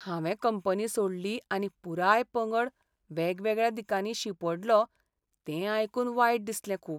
हांवें कंपनी सोडली आनी पुराय पंगड वेगवेगळ्या दिकांनी शिंपडलो तें आयकून वायट दिसलें खूब.